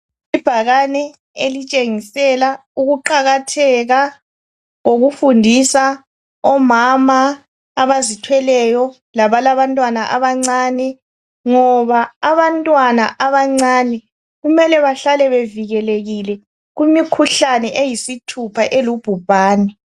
Ibhakane elitshengisela ukuqakatheka kokufundisa omama abazithweleyo labalabantwana abancane. Ngoba abantwana abancane kumele bahlale bevikelekile kumikhuhlane eyisithupha elubhubhane